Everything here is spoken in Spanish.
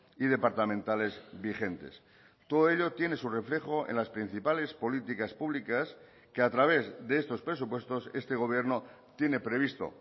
y departamentales vigentes todo ello tiene su reflejo en las principales políticas públicas que a través de estos presupuestos este gobierno tiene previsto